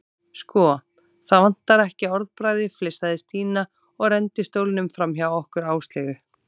Sko, það vantar ekki orðbragðið flissaði Stína og renndi stólnum framhjá okkur Áslaugu.